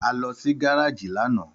Àlọ sì gàràjì lànà